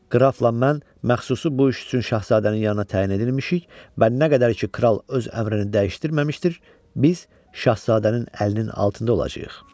Qrafla mən məxsusi bu iş üçün şahzadənin yanına təyin edilmişik və nə qədər ki kral öz əmrini dəyişdirməmişdir, biz şahzadənin əlinin altında olacağıq.